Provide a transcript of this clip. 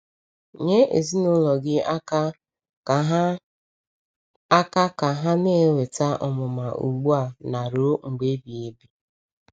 Nye ezinụlọ gị aka ka ha aka ka ha na-enweta ọmụma ugbu a na ruo mgbe ebighị ebi.